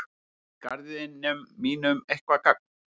Gera þeir garðinum mínum eitthvert gagn?